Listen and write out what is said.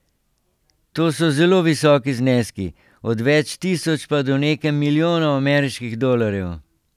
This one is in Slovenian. To so zelo visoki zneski, od več tisoč pa do nekaj milijonov ameriških dolarjev.